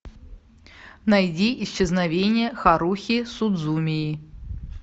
найди исчезновение харухи судзумии